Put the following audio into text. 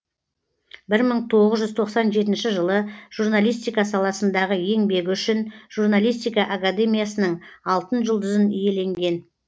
бір мың тоғыз жүз тоқсан жетінші жылы журналистика саласындағы еңбегі үшін журналистика академиясының алтын жүлдызын иеленген